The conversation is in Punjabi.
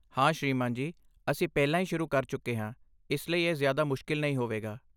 ਹਾਂ ਸ੍ਰੀਮਾਨ ਜੀ, ਅਸੀਂ ਪਹਿਲਾਂ ਹੀ ਸ਼ੁਰੂ ਕਰ ਚੁੱਕੇ ਹਾਂ ਇਸ ਲਈ ਇਹ ਜ਼ਿਆਦਾ ਮੁਸ਼ਕਲ ਨਹੀਂ ਹੋਵੇਗਾ।